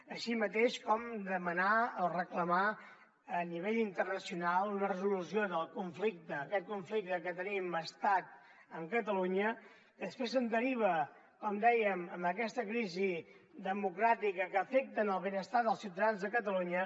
així com demanar o reclamar a nivell internacional una resolució del conflicte aquest conflicte que tenim estat amb catalunya que després se’n deriva com dèiem aquesta crisi democràtica que afecta el benestar dels ciutadans de catalunya